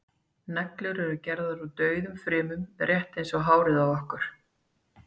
neglur eru gerðar úr dauðum frumum rétt eins og hárið á okkur